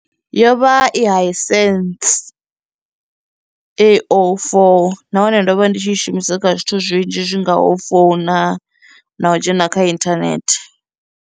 Yo vha i Hisense A04 nahone ndo vha ndi tshi i shumisa kha zwithu zwinzhi zwingaho u founa na u dzhena kha inthanethe.